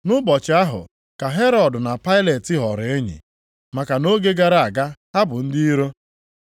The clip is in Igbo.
Nʼụbọchị ahụ ka Herọd na Pailet ghọrọ enyi, maka nʼoge gara aga ha bụ ndị iro.